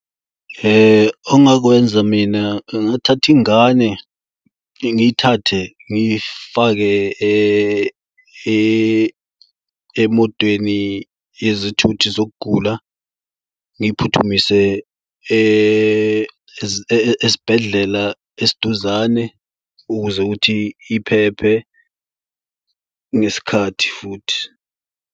Ongakwenza mina ngingathatha ingane ngiyithathe ngifake emotweni yezithuthi zokugula ngiyiphuthumise esibhedlela esiduzane. Ukuze ukuthi iphephe ngesikhathi futhi.